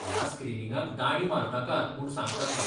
ह्या स्क्रीनिंगाक दांडी मारनाकात म्हूण सांग तांकां.